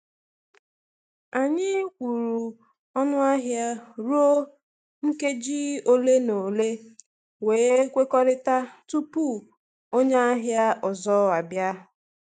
Anyị kwụrụ ọnụ ahịa ruo nkeji ole na ole, wee kwekọrịta tupu onye ahịa ọzọ abịa.